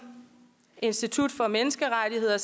institut for menneskerettigheder